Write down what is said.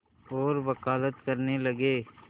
और वक़ालत करने लगे